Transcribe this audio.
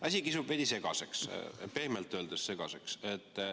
Asi kisub veidi segaseks, pehmelt öeldes.